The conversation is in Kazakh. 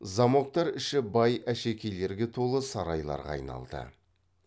замоктар іші бай әшекейлерге толы сарайларға айналды